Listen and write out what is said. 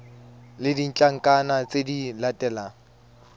le ditlankana tse di latelang